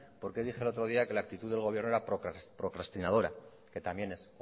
por qué dije el otro día que la actitud del gobierno era procrastinadora que también es